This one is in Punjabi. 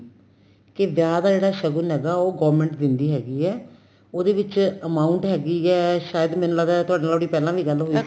ਕੇ ਵਿਆਹ ਦਾ ਇਹਦਾ shogun ਹੈਗਾ government ਦੇਂਦੀ ਹੈਗੀ ਏ ਉਹਦੇ ਵਿੱਚ amount ਹੈਗੀ ਏ ਸ਼ਾਇਦ ਮੈਨੂੰ ਲੱਗਦਾ ਤੁਹਾਡੇ ਨਾਲ ਪਹਿਲਾਂ ਵੀ ਗੱਲ ਹੋਈ ਸੀ